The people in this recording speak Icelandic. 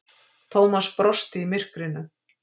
Thomas brosti í myrkrinu.